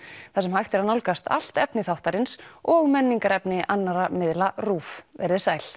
þar sem hægt er að nálgast allt efni þáttarins og menningarefni annarra miðla RÚV veriði sæl